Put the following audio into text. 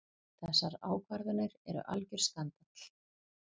Þessar ákvarðanir eru algjör skandall.